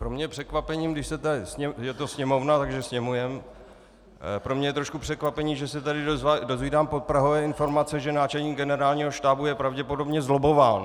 Pro mě je překvapením - je to sněmovna, takže sněmujem - pro mě je trošku překvapením, že se tady dozvídám podprahové informace, že náčelník Generálního štábu je pravděpodobně zlobbován.